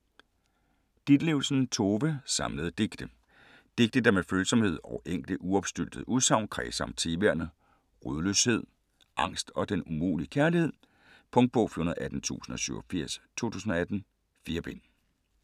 Ditlevsen, Tove: Samlede digte Digte der med følsomhed og enkle uopstyltede udsagn kredser om temaerne: rodløshed, sårbarhed, angst og den umulige kærlighed. Punktbog 418087 2018. 4 bind.